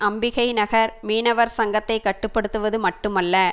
அம்பிகை நகர் மீனவர் சங்கத்தை கட்டு படுத்துவது மட்டுமல்ல